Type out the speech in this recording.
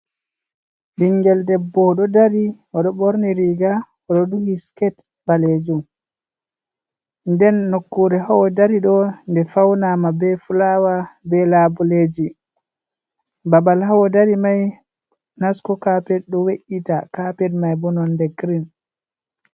Ɓingel debbo oɗo dari, oɗo ɓorni riga, odo duhi skate(skirt) balejum. Nden nokkure ha odari ɗo nde faunama be fulawa(flower), be labuleji. Babal ha odari mai nasco carpet ɗo we'iti. Carpet mai bo nonde green.